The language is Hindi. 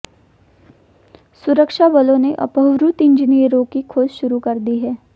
सुरक्षा बलों ने अपहृत इंजीनियरों की खोज शुरू कर दी है